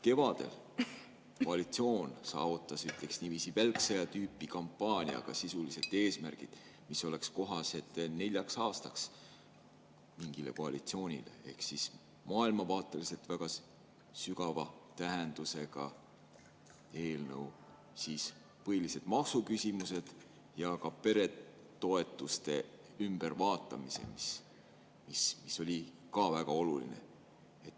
Kevadel koalitsioon saavutas, ütleks niiviisi, välksõja tüüpi kampaaniaga sisuliselt eesmärgid, mis oleks mingile koalitsioonile kohased neljaks aastaks: maailmavaateliselt väga sügava tähendusega eelnõud, põhilised maksuküsimused ja muudeti peretoetusi, mis oli ka väga oluline.